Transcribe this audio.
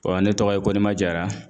ne tɔgɔ ye Koniba Jara.